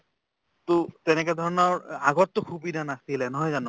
to তেনেকা ধৰণৰ আগততো সুবিধা নাছিলে নহয় জানো